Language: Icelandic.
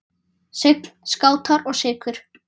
Sign, Skátar og Sykur.